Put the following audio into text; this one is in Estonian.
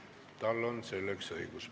Tal on selleks õigus.